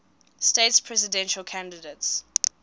states presidential candidates